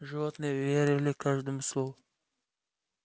животные верили каждому слову